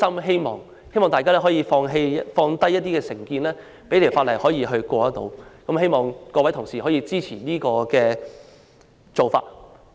希望大家可以放下成見，讓《條例草案》得以通過，希望各位同事支持這個做法。